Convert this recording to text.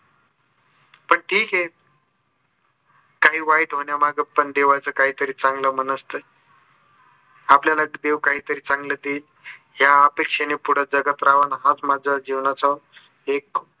पण ठीक आहे. काही वाईट होण्यामागं पण देवाचा काही चांगला मनस्त आहे. आपल्याल देव काहीतरी चांगलं देईल ह्या अपेक्षेने पुढे जगत राहावं. आणि हाच माझा जीवनाचा एक